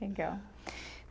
Legal.